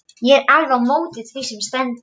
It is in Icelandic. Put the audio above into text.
Ég er alveg á móti því sem stendur.